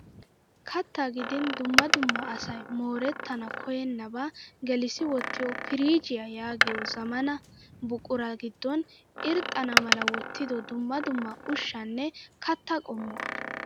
Kattaa gidin dumma dumma asayi moorettana koyyennaba gelissi wottiyoo piriijjiyaa yaagiyoo zammaanaa buqura giddon irxxana mala wottido dumma dumma ushshaanne kattaa qommuwaa.